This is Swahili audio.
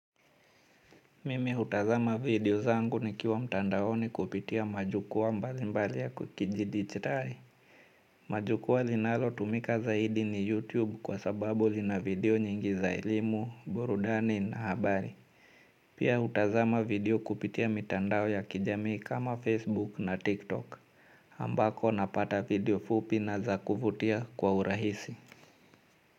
Mimi hutazama video zangu nikiwa mtandaoni kupitia majukwaa mbalimbali ya kijidigitali. Majukwaa linalotumika zaidi ni YouTube kwa sababu lina video nyingi za elimu, burudani na habari. Pia hutazama video kupitia mitandao ya kijamii kama Facebook na TikTok. Ambako napata video fupi na za kuvutia kwa urahisi.